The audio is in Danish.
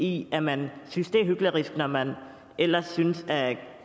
i at man synes det er hyklerisk når man ellers synes at